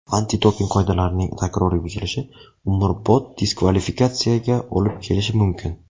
Antidoping qoidalarining takroriy buzilishi umrbod diskvalifikatsiyaga olib kelishi mumkin.